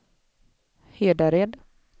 Hedared